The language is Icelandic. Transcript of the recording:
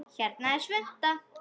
Hérna er svunta